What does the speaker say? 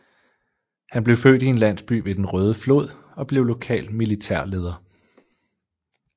Han blev født i en landsby ved Den Røde Flod og blev lokal militærleder